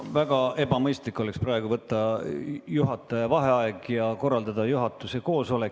Väga ebamõistlik oleks teha praegu juhataja vaheaeg ja korraldada juhatuse koosolek.